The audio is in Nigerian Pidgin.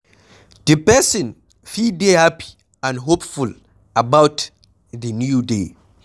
Di person fit dey happy and hopeful about di new day